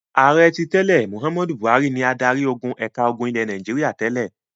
Ààrẹ tí tẹ́lẹ̀ Mohammed Buhari ni adarí-ogun ẹ̀ka ogun ilẹ̀ Nàìjíríà tẹ́lẹ̀.